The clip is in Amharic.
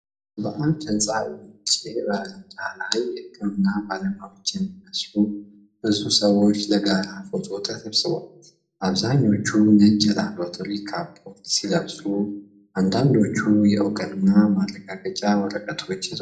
በአንድ ሕንፃ ውጭ በረንዳ ላይ፣ የሕክምና ባለሙያዎች የሚመስሉ ብዙ ሰዎች ለጋራ ፎቶ ተሰብስበዋል። አብዛኞቹ ነጭ የላብራቶሪ ካፖርት ሲለብሱ፣ አንዳንዶቹ የእውቅና ማረጋገጫ ወረቀቶች ይዘዋል።